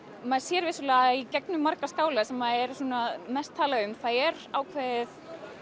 maður sér vissulega í gegnum marga skála sem er mest talað um það er ákveðið